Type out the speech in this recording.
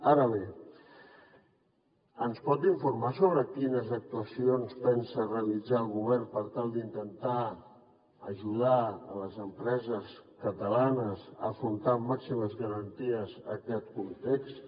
ara bé ens pot informar sobre quines actuacions pensa realitzar el govern per tal d’intentar ajudar les empreses catalanes a afrontar amb màximes garanties aquest context